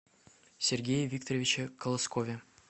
сергее викторовиче колоскове